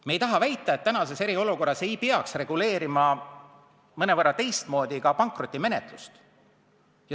Me ei taha väita, et tänases eriolukorras ei peaks mõnevõrra teistmoodi reguleerima ka pankrotimenetlust.